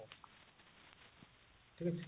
ଠିକ ଅଛି